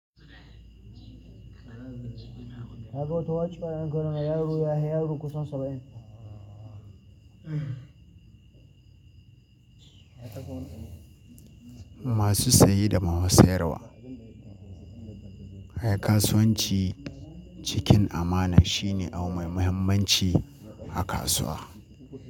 Na ga wata waci bayan karama yaro ya hayi yaro kusan saba'in. Masu saye da masu sayarwa. Kasuwanci cikin amana shine abu mai muhimmanci a kasuwa.